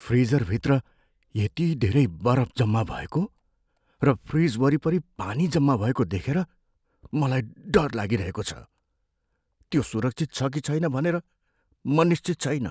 फ्रिजरभित्र यति धेरै बरफ जम्मा भएको र फ्रिज वरिपरि पानी जम्मा भएको देखेर मलाई डर लागिहेको छ, त्यो सुरक्षित छ कि छैन भनेर म निश्चित छैन।